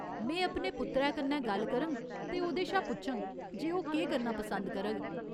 में अपने पुत्तरै कन्नै गल्ल करङ ते ओह्‌दे शा पुच्छङ जे ओह् केह् करना पसंद करग।